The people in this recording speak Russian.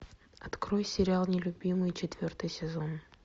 открой сериал нелюбимый четвертый сезон